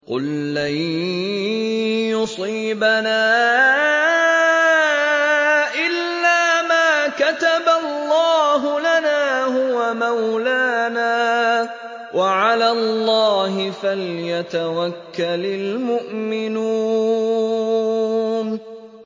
قُل لَّن يُصِيبَنَا إِلَّا مَا كَتَبَ اللَّهُ لَنَا هُوَ مَوْلَانَا ۚ وَعَلَى اللَّهِ فَلْيَتَوَكَّلِ الْمُؤْمِنُونَ